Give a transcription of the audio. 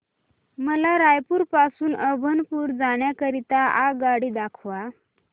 मला रायपुर पासून अभनपुर जाण्या करीता आगगाडी दाखवा